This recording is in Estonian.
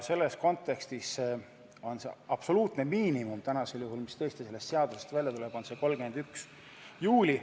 Selles kontekstis on absoluutne miinimum täna tõesti 31. juuli, nagu sellest eelnõust välja tuleb.